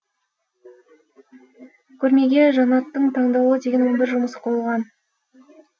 көрмеге жанаттың таңдаулы деген он бір жұмысы қойылған